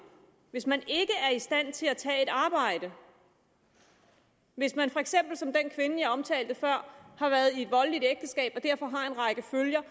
hvis man ikke er i stand til at tage et arbejde hvis man for eksempel som den kvinde jeg omtalte før har været i et voldeligt ægteskab og derfor lider under en række følger